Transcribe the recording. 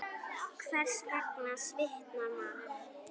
Hvers vegna svitnar maður?